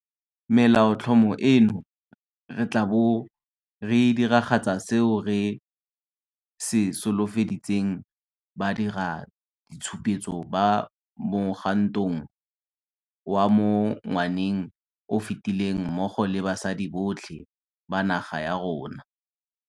Melaotlhomo eno, re tla bo re diragatsa seo re se solofeditseng badiraditshupetso ba mo mogwantong wa mo ngwaneng o o fetileng mmogo le basadi botlhe ba naga ya rona.